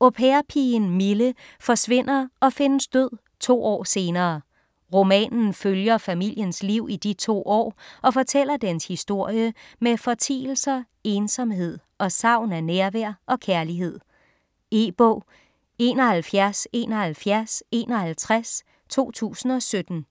Au pair-pigen Mille forsvinder og findes død to år senere. Romanen følger familiens liv i de to år og fortæller dens historie med fortielser, ensomhed og savn af nærvær og kærlighed. E-bog 717151 2017.